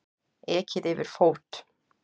Ekið yfir fót